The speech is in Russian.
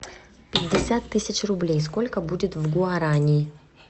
пятьдесят тысяч рублей сколько будет в гуарани